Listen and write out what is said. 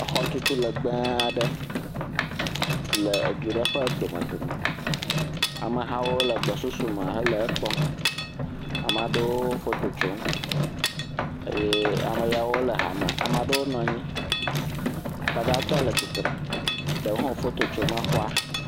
Exɔturu legbe aɖe si le edu ɖe ƒe dome dome. Ame hawo le gbɔsusu me hele kpɔm. Ama ɖewo foto tsom. Eye ame yawo le hame. Ama ɖewo nɔ anyi. Akpa gãtɔ le tsitre, ɖewo hã wo foto tsom xɔa.